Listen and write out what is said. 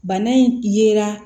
Bana in yera